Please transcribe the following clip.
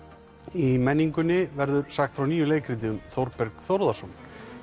í menningunni verður sagt frá nýju leikriti um Þórberg Þórðarson